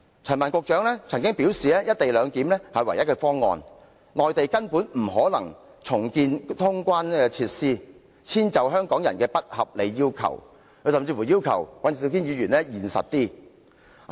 陳帆局長曾表示"一地兩檢"是唯一的方案，內地根本不可能重建通關設施以遷就香港人的不合理要求，他甚至要求尹兆堅議員現實一點。